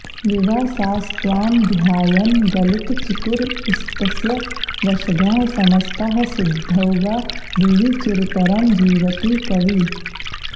विवासास्त्वां ध्यायन् गलितचिकुरस्तस्य वशगाः समस्ताः सिद्धौघा भुवि चिरतरं जीवति कविः